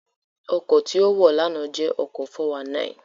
Ọkọ̀ tí ó wọ̀ lánàá jẹ́ ọkọ̀ 419